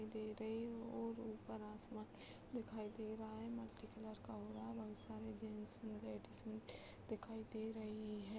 दे रही और ऊपर आसमान दिखाई दे रहा हैं | मल्‍टीकलर का हो रहा है | बहुत सारे जेन्‍ट्स लेडीज दिखाई दे रही हैं ।